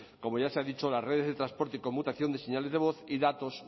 como ya se ha dicho las redes de transporte y conmutación de señales de voz y datos